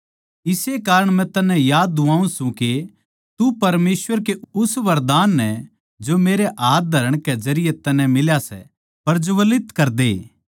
इस्से कारण मै तन्नै याद दुवाऊँ सूं के तू परमेसवर कै उस वरदान नै जो मेरै हाथ धरण कै जरिये तन्नै मिल्या सै प्रज्वलित करदे